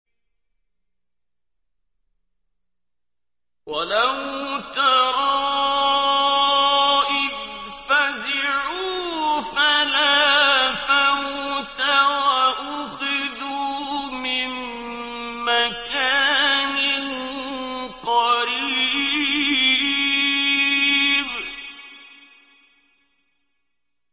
وَلَوْ تَرَىٰ إِذْ فَزِعُوا فَلَا فَوْتَ وَأُخِذُوا مِن مَّكَانٍ قَرِيبٍ